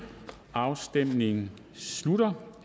afstemningen slutter